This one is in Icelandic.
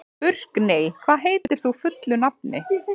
Burkney, hvað heitir þú fullu nafni?